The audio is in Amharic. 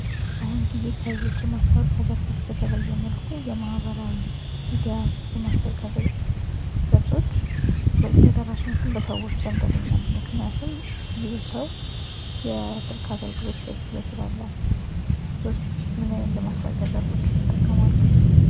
በአሁን ጊዜ ከሌሎች የማስታወቂያ ዘርፎች በተለየ የመልኩ የማህበራዊ ሚዲያ የማስታወቂያ ገጾች ተደራሽነትን በሰዎች ዘንድ ያገኛሉ ። ምክንያቱም ብዙ ሰው የስልክ አገልግሎት በእጁ ላይ ስላለ ። እርስዎስ ምን አይነት የማስታወቂያ ዘርፎችን ይጠቀማሉ ?